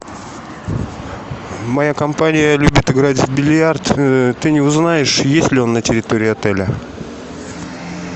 моя компания любит играть в бильярд ты не узнаешь есть ли он на территории отеля